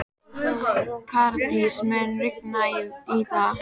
Karítas, mun rigna í dag?